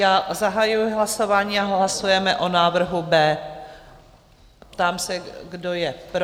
Já zahajuji hlasování a hlasujeme o návrhu B. Ptám se, kdo je pro?